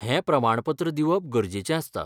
हें प्रमाणपत्र दिवप गरजेचें आसता.